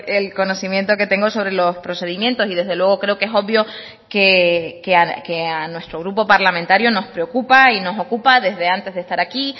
el conocimiento que tengo sobre los procedimientos y desde luego creo que es obvio que a nuestro grupo parlamentario nos preocupa y nos ocupa desde antes de estar aquí